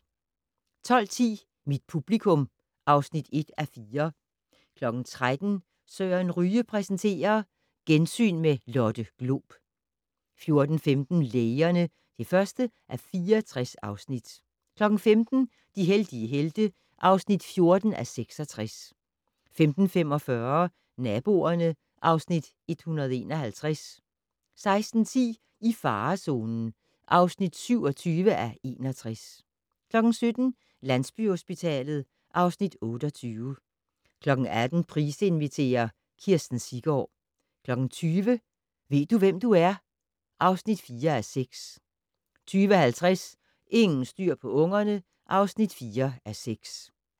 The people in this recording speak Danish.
12:10: Mit publikum (1:4) 13:00: Søren Ryge præsenterer: Gensyn med Lotte Glob 14:15: Lægerne (1:64) 15:00: De heldige helte (14:66) 15:45: Naboerne (Afs. 151) 16:10: I farezonen (27:61) 17:00: Landsbyhospitalet (Afs. 28) 18:00: Price inviterer - Kirsten Siggaard 20:00: Ved du, hvem du er? (4:6) 20:50: Ingen styr på ungerne (4:6)